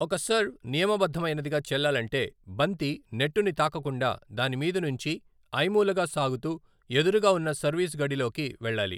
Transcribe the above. ఒక సర్వ్ నియమబద్దమైనదిగా చెల్లాలంటే, బంతి నెట్టుని తాకకుండా దాని మీదనుంచి ఐమూలగా సాగుతూ ఎదురుగా ఉన్న సర్వీస్ గడి లోకి వెళ్ళాలి.